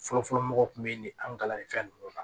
Fɔlɔfɔlɔ mɔgɔ tun bɛ nin an ga kalanni fɛn ninnu na